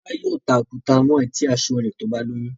Tola yóò tá òkúta mọ eti aṣọ rẹ tí o bá lóyún.